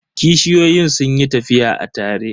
Kishiyoyin sun yi tafiya a tare.